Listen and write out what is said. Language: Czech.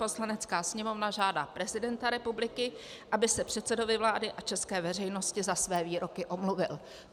Poslanecká sněmovna žádá prezidenta republiky, aby se předsedovi vlády a české veřejnosti za své výroky omluvil.